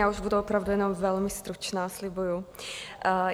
Já už budu opravdu jenom velmi stručná, slibuji.